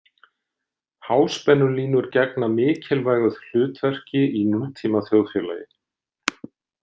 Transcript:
Háspennulínur gegna mikilvægu hlutverki í nútíma þjóðfélagi.